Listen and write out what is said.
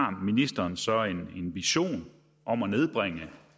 om ministeren så har en vision om at nedbringe